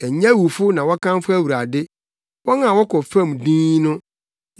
Ɛnyɛ awufo na wɔkamfo Awurade wɔn a wɔkɔ fam dinn no.